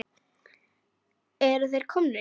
Eru þeir komnir hingað?